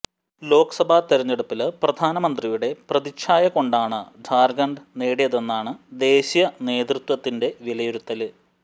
ലോക്സഭാ തിരഞ്ഞെടുപ്പില് പ്രധാനമന്ത്രിയുടെ പ്രതിച്ഛായ കൊണ്ടാണ് ഝാര്ഖണ്ഡ് നേടിയതെന്നാണ് ദേശീയ നേതൃത്വത്തിന്റെ വിലയിരുത്തല്